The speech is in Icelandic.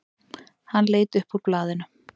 Hann leit upp úr blaðinu.